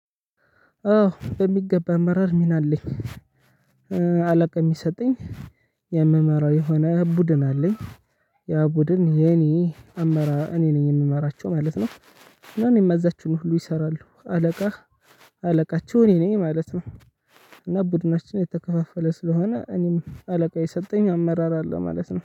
አዎ በሚገባ አመራር ሚና አለኝ። አለቃ የሚሰጠኝ የምመራው የሆነ ብዱን አለኝ። ያ ቡድን የኔ አመራ እኔ ነኝ የምመራቸው ማለት ነው። እና እኔ የማዛቸውን ሁሉ ይሰራሉ አለቃ። አለቃቸው እኔ ነኝ ማለት ነው። እና ቡድናችን የተከፋፈለ ስለሆነ እኔም አለቃ የሰጠኝ አመራር አለ ማለት ነው